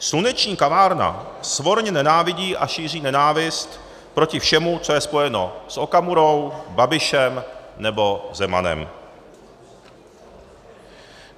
Sluneční kavárna svorně nenávidí a šíří nenávist proti všemu, co je spojeno s Okamurou, Babišem nebo Zemanem.